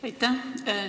Aitäh!